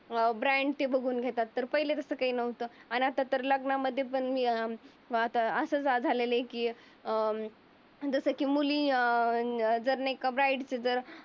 अं brand ते बघून घेतात. तर पहिले तसं काही नव्हतं. अन आता तर लग्नामध्ये पण अं आता असं झालेला आहे की अं जस मुली अं नाही का ब्राईटची जर